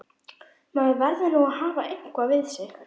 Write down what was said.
Maður verður nú að hafa eitthvað við sig!